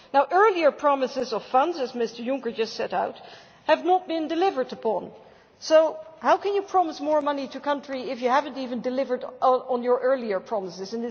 Earlier promises of funds, as Mr Juncker just set out, have not been delivered upon, so how can you promise more money to a country if you have not even delivered on your earlier promises?